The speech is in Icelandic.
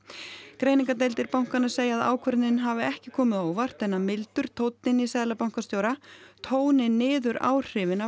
greiningardeildir bankanna segja að ákvörðunin hafi ekki komið á óvart en að mildur tónninn í seðlabankastjóra tóni niður áhrifin af